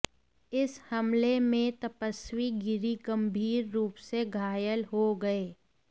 इस हमले में तपस्वी गिरी गंभीर रूप से घायल हो गए